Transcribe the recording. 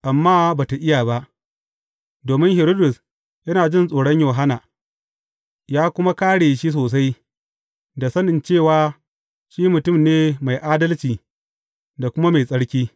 Amma ba tă iya ba, domin Hiridus yana jin tsoron Yohanna, ya kuma kāre shi sosai, da sanin cewa shi mutum ne mai adalci da kuma mai tsarki.